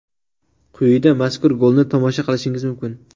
Quyida mazkur golni tomosha qilishingiz mumkin.